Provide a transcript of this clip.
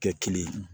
Kɛ kelen ye